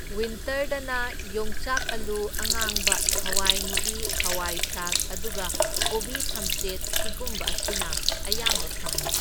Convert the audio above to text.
ꯋꯤꯟꯇꯔꯗꯅ ꯌꯣꯡꯆꯥꯛ ꯑꯂꯨ ꯑꯉꯥꯡꯕ ꯍꯋꯥꯏꯃꯨꯕꯤ ꯍꯋꯥꯢꯊ꯭ꯔꯥꯛ, ꯑꯗꯨꯒ ꯀꯣꯕꯤ ꯊꯝꯆꯦꯠ ꯁꯤꯒꯨꯝꯕ ꯑꯁꯤꯅ ꯑꯌꯥꯝꯕ ꯐꯪꯢ꯫